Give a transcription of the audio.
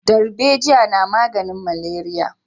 Darbejiya na maganin maleriya